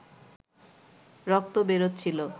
রক্ত বেরোচ্ছিল